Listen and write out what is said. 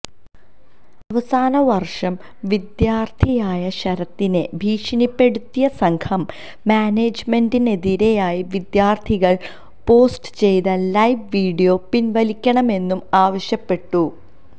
അവസാനവർഷ വിദ്യാർത്ഥിയായ ശരത്തിനെ ഭീഷണിപ്പെടുത്തിയ സംഘം മാനേജ്മെന്റിനെതിരായി വിദ്യാർത്ഥികൾ പോസ്റ്റ് ചെയ്ത ലൈവ് വീഡിയോ പിൻവലിക്കണമെന്നും ആവശ്യപ്പെട്ടു